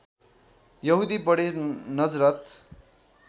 यहूदी बढे नजरथ